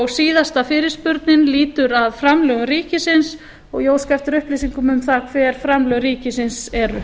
síðasta og sjöunda spurningin lýtur að framlögum ríkisins og ég óska eftir upplýsingum um það hver framlög ríkisins eru